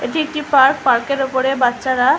এটি একটি পার্ক পার্কের ওপরে বাচ্চারা--